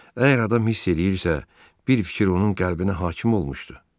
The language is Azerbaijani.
Əgər adam hiss eləyirsə, bir fikir onun qəlbinə hakim olmuşdu.